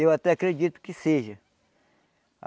Eu até acredito que seja.